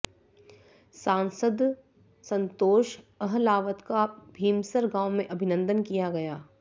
सांसद संतोष अहलावत का भीमसर गांव में अभिनंदन किया गया